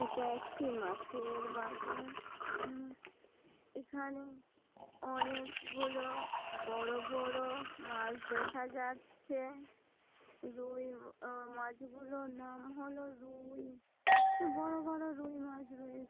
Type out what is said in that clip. এটা একটি মাছের বাজার উম এখানে অনেক গুলো বড় বড় মাছ দেখা যাচ্ছে-এ । রুই আ মাছ গুলোর নাম হলো রুউ-ই তো বড় বড় রুই মাছ রয়ে --